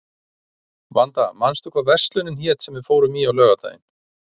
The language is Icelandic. Vanda, manstu hvað verslunin hét sem við fórum í á laugardaginn?